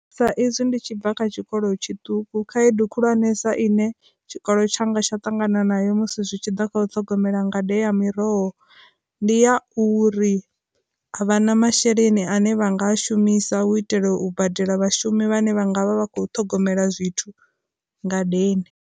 Sa izwi ndi tshi bva kha tshikolo tshiṱuku khaedu khulwanesa ine tshikolo tshanga tsha tangana nayo musi zwi tshi ḓa kha u ṱhogomela ngade ya miroho, ndi ya uri vha na masheleni ane vha nga shumisa u itela u badela vhashumi vhane vha nga vha vha kho ṱhogomela zwithu ngadeni.